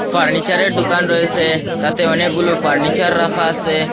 ফার্নিচারের দোকান রয়েসে তাতে অনেকগুলো ফার্নিচার রাখা আসে।